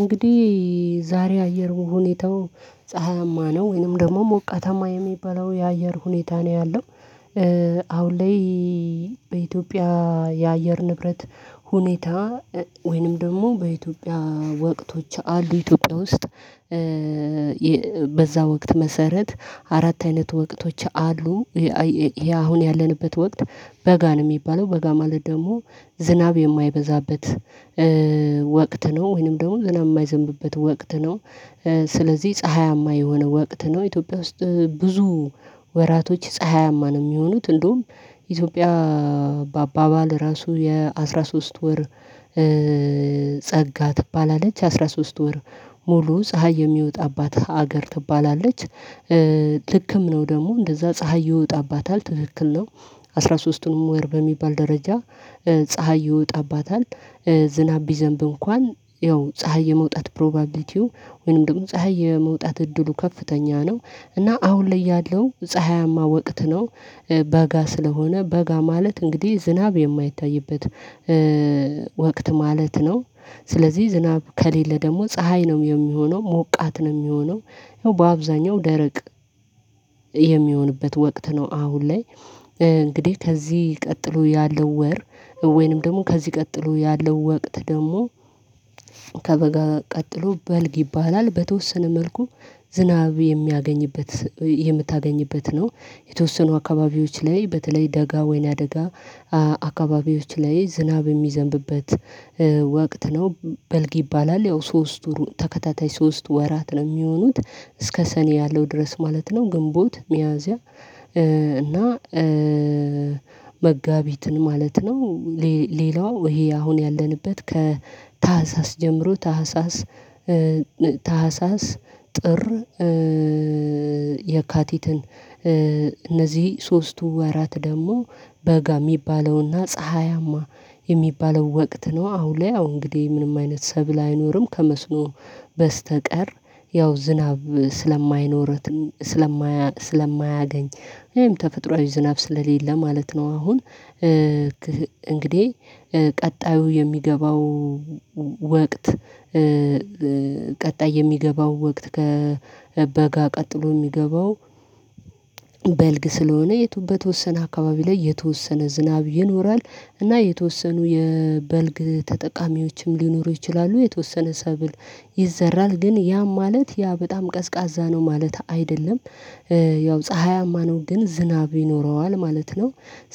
እንግዲህ ዛሬ አየር ሁኔታው ፀሀያማ ነው ወይንም ደግሞ ሞቃተማ የሚበላው የአየር ሁኔታ ነው ያለው። አሁን ላይ በኢትዮጵያ የአየር ንብረት ሁኔታ ወይንም ደግሞ በኢትዮጵያ ወቅቶች አሉ ኢትዮጵያ ውስጥ በዛ ወቅት መሰረት አራት አይነት ወቅቶች አሉ። ይሄ አሁን ያለንበት ወቅት በጋ ነው የሚባለው በጋ ማለት ደግሞ ዝናብ የማይበዛበት ወቅት ነው ወይንም ደግሞ ዝናብ የማይዘንብበት ወቅት ነው። ስለዚህ ፀሀያማ የሆነ ወቅት ነው ኢትዮጵያ ውስጥ ብዙ ወራቶች ፀሀያማ ነው የሚሆኑት እንደውም ኢትዮጵያ በአባባል ራሱ የአሥራ ሶስት ወር ጸጋ ትባላለች አስራ ሶስት ወር ሙሉ ፀሀይ የሚወጣባት ሀገር ትባላለች። ልክም ነው ደግሞ እንደዛ ፀሀይ ይወጣባታል ትክክል ነው። አስራ ሶስቱንም ወይ በሚባል ደረጃ ፀሀይ ይወጣባታል ዝናብ ቢዘንብ እንኳን ያው ፀሀይ የመውጣት ፕሮባቢሊቲው ወይንም ደግሞ ፀሀይ የመውጣት እድሉ ከፍተኛ ነው። እና አሁን ላይ ያለው ፀሀያማ ወቅት ነው በጋ ስለሆነ በጋ ማለት እንግዲህ ዝናብ የማይታይበት ወቅት ማለት ነው። ስለዚህ ዝናብ ከሌለ ደግሞ ፀሀይ ነው የሚሆነው ሞቃት ነው የሚሆነው ያው በአብዛኛው ደረቅ የሚሆንበት ወቅት ነው። አሁን ላይ እንግዲህ ከዚህ ቀጥሎ ያለው ወር ወይንም ደግሞ ከዚህ ቀጥሎ ያለው ወቅት ደግሞ ከበጋ ቀጥሎ በልግ ይባላል። በተወሰነ መልኩ ዝናብ የሚያገኝበት የምታገኝበት ነው የተወሰኑ አካባቢዎች ላይ በተለይ ደጋ ወይና ደጋ አካባቢዎች ላይ ዝናብ የሚዘንብበት ወቅት ነው። በልግ ይባላል ያው ሶስት ተከታታይ ሶስት ወራት ነው የሚሆኑት እስከ ሰኔ ያለው ድረስ ማለት ነው ግንቦት ሚያዝያ እና መጋቢትን ማለት ነው። ሌላው ይሄ አሁን ያለንበት ከታህሳስ ጀምሮ ታህሳስ ታህሳስ ጥር የካቲትን እነዚህ ሶስቱ ወራት ደግሞ በጋ የሚባለውና ፀሀያማ የሚባለው ወቅት ነው። አሁን ላይ አሁን እንግዲህ ምንም አይነት ሰብል አይኖርም ከመስኖ በስተቀር ያው ዝናብ ስለማይኖራት ስለማያገኝ ወይም ተፈጥሮአዊ ዝናብ ስለሌለ ማለት ነው። አሁን እንግዲህ ቀጣዩ የሚገባው ወቅት ቀጣይ የሚገባው ወቅት ከበጋ ቀጥሎ የሚገባው በልግ ስለሆነ የቱ በተወሰነ አካባቢ ላይ የተወሰነ ዝናብ ይኖራል። እና የተወሰኑ የበልግ ተጠቃሚዎችም ሊኖሩ ይችላሉ የተወሰነ ሰብል ይዘራል ግን ያም ማለት ያ በጣም ቀዝቃዛ ነው ማለት አይደለም። ያው ፀሀያማ ነው ግን ዝናብ ይኖረዋል ማለት ነው።